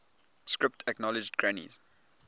script acknowledged granny's